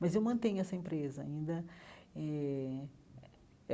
Mas eu mantenho essa empresa ainda eh.